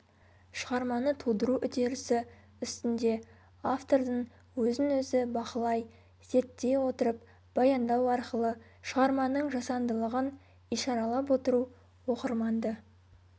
шығарманы тудыру үдерісі үстінде автордың өзін-өзі бақылай зерттей отырып баяндау арқылы шығарманың жасандылығын ишаралап отыру оқырманды